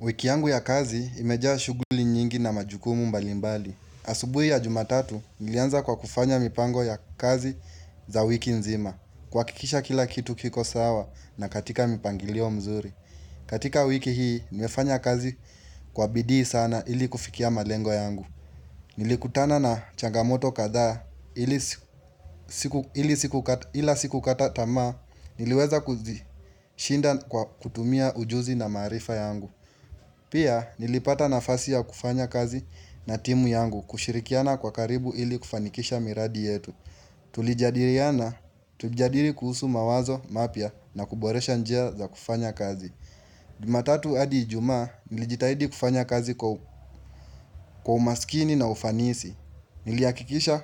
Wiki yangu ya kazi imejaa shughuli nyingi na majukumu mbalimbali. Asubui ya jumatatu, nilianza kwa kufanya mipango ya kazi za wiki nzima. Kuha kikisha kila kitu kiko sawa na katika mipangilio mzuri. Katika wiki hii, nimefanya kazi kwa bidii sana ili kufikia malengo yangu. Nilikutana na changamoto kathaa ila siku kata tamaa, niliweza kuzi shinda kwa kutumia ujuzi na maarifa yangu. Pia nilipata nafasi ya kufanya kazi na timu yangu kushirikiana kwa karibu ili kufanikisha miradi yetu. Tulijadiriana, tulijadiri kuhusu mawazo, mapya na kuboresha njia za kufanya kazi. Juma tatu hadi ijumaa, nilijitahidi kufanya kazi kwa umaskini na ufanisi. Niliha kikisha